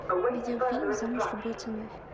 видеофильм замуж любой ценой